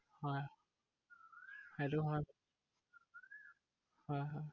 হয়, সেইটো হয় হয় হয়।